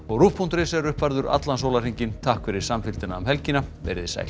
rúv punktur is er uppfærður allan sólarhringinn takk fyrir samfylgdina um helgina verið sæl